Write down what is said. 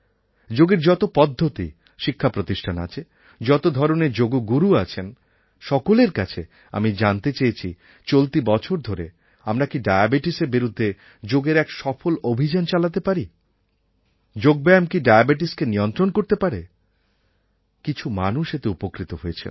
যোগের যত পদ্ধতি শিক্ষাপ্রতিষ্ঠান আছে যত ধরনের যোগগুরু আছেন সকলের কাছে আমি জানতে চেয়েছি চলতি বছর ধরে আমরা কি ডায়াবেটিসের বিরুদ্ধে যোগের এক সফল অভিযান চালাতে পারি যোগব্যায়াম কি ডায়াবেটিসকে নিয়ন্ত্রণ করতে পারে কিছু মানুষ এতে উপকৃত হয়েছেন